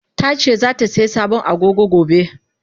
Tace zatasai sabon Agogo gobe.